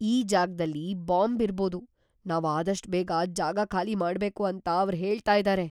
ಈ ಜಾಗ್ದಲ್ಲಿ ಬಾಂಬ್ ಇರ್ಬೋದು, ನಾವ್ ಆದಷ್ಟ್ ಬೇಗ ಜಾಗ ಖಾಲಿ ಮಾಡ್ಬೇಕು ಅಂತ ಅವ್ರ್ ಹೇಳ್ತಾ ಇದಾರೆ.